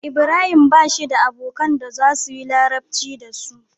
Ibrahim bashi da abokan da zasuyi larabci dasu